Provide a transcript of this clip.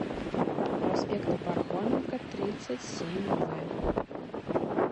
проспекта пархоменко тридцать семь в